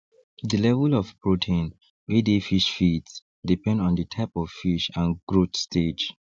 the level of protein wey dey fish feeds depend on the type of fish and growth stage